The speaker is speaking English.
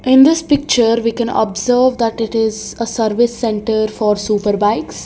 in this picture we can observe that it is a service centre for superbikes.